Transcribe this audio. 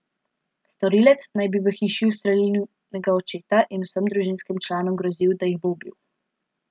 Storilec naj bi v hiši ustrelil njunega očeta in vsem družinskim članom grozil, da jih bo ubil.